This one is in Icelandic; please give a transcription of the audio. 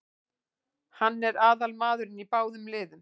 Hann er aðalmaðurinn í báðum liðum.